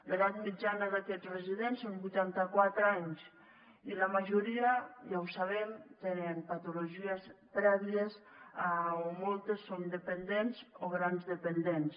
l’edat mitjana d’aquests residents són vuitanta quatre anys i la majoria ja ho sabem tenen patologies prèvies o moltes són dependents o grans dependents